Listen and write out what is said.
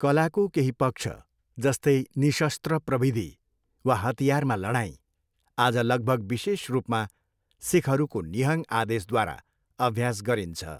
कलाको केही पक्ष, जस्तै निशस्त्र प्रविधि वा हतियारमा लडाइँ, आज लगभग विशेष रूपमा सिखहरूको निहङ आदेशद्वारा अभ्यास गरिन्छ।